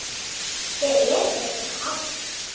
Hver er þessi Hans?